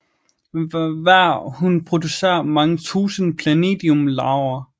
Hver hun producerer mange tusinde planidium larver